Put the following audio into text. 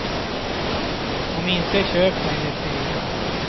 Om inte, köp med ett eget.